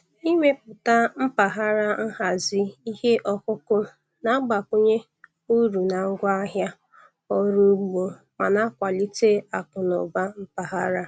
Ịmepụta mpaghara nhazi ihe ọkụkụ na-agbakwunye uru na ngwaahịa ọrụ ugbo ma na-akwalite akụ na ụba mpaghara.